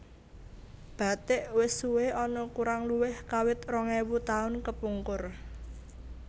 Bathik wis suwé ana kurang luwih kawit rong ewu taun kepungkur